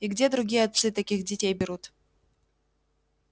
и где другие отцы таких детей берут